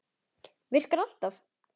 Virkar alltaf!